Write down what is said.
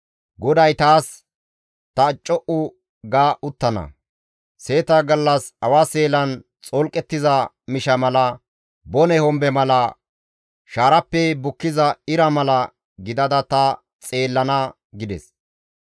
GODAY taas, «Ta co7u ga uttana; seeta gallas awa seelan xolqettiza misha mala bone hombe mala, shaarappe bukkiza ira mala gidada ta xeellana» gides.